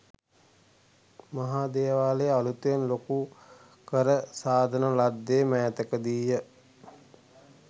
මහා දේවාලය අලුතෙන් ලොකු කර සාදන ලද්දේ මෑතකදීය.